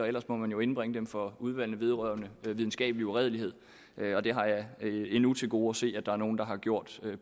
ellers må man jo indbringe dem for udvalgene vedrørende videnskabelig uredelighed og det har jeg endnu til gode at se at der er nogen der har gjort med